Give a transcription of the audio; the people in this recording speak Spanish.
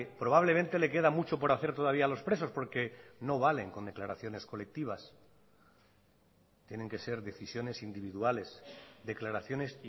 probablemente le queda mucho por hacer todavía a los presos porque no valen con declaraciones colectivas tienen que ser decisiones individuales declaraciones